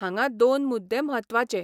हांगां दोन मुद्दे म्हत्वाचे.